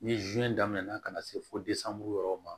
Ni daminɛna ka na se fo yɔrɔ ma